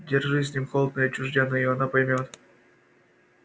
держись с ним холодно и отчуждённо и она поймёт